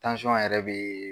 yɛrɛ bee